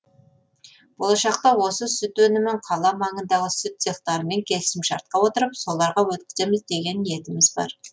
болашақта осы сүт өнімін қала маңындағы сүт цехтарымен келісімшартқа отырып соларға өткіземіз деген ниетіміз бар